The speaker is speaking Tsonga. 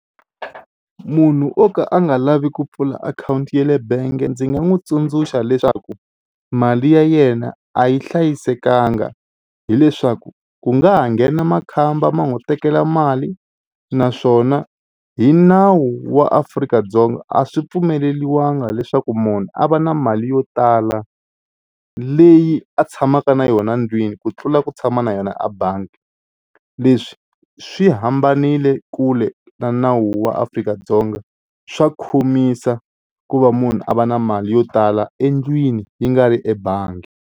Munhu o ka a nga lavi ku pfula akhawunti ya le bangi ndzi nga n'wi tsundzuxa leswaku mali ya yena a yi hlayisekanga hileswaku ku nga ha nghena makhamba ma n'wi tekela mali naswona hi nawu wa Afrika-Dzonga a swi pfumeleriwanga leswaku munhu a va na mali yo tala leyi a tshamaka na yona ndlwini ku tlula ku tshama na yona a bangi. Leswi swi hambanile kule na nawu wa Afrika-Dzonga swa khomisa ku va munhu a va na mali yo tala endlwini yi nga ri ebangi.